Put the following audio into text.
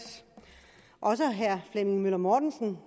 år også herre flemming møller mortensen